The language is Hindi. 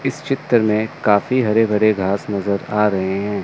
इस चित्र में काफी हरे भरे घास नजर आ रहे हैं।